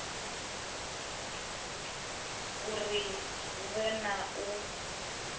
uri hu vhe na u